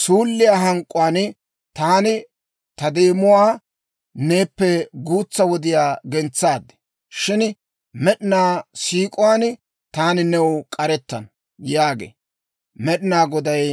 Suulliyaa hank'k'uwaan, taani ta deemuwaa neeppe guutsaa wodiyaw gentsaad; shin med'inaa siik'uwaan taani new k'arettana» yaagee. Med'inaa Goday,